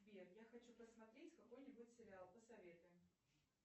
сбер я хочу посмотреть какой нибудь сериал посоветуй